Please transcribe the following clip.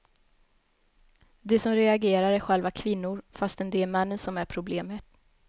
De som reagerar är själva kvinnor, fastän det är männen som är problemet.